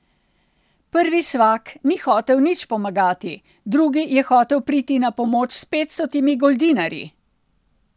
Prvi svak ni hotel nič pomagati, drugi je hotel priti na pomoč s petstotimi goldinarji.